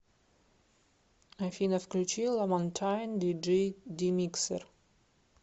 афина включи ламантайн диджи димиксер